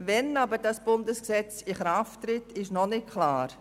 Wann aber dieses Bundesgesetz in Kraft treten soll, ist noch nicht klar.